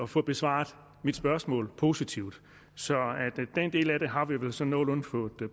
få besvaret mit spørgsmål positivt så den del af det har vi vel så nogenlunde fået